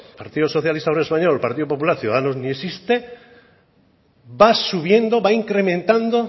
partido obrero español partido popular ciudadanos ni existe va subiendo va incrementando